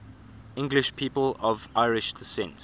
english people of irish descent